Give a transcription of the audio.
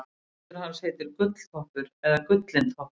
hestur hans heitir gulltoppur eða gullintoppur